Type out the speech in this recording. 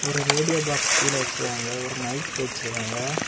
ஒரு radio box கீழே வெச்சிருக்காங்க ஒரு மைக் வெச்சிருக்காங்க.